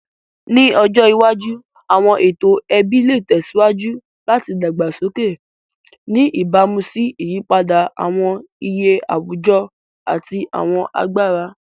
Ni ọjọ iwaju, awọn eto ẹbi le tẹsiwaju lati dagbasoke, ni ibamu si iyipada awọn iye awujọ ati awọn agbara.